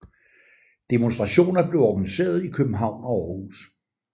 Demonstrationer blev organiseret i København og Aarhus